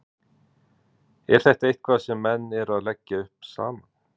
Er þetta eitthvað sem menn eru að leggja upp saman?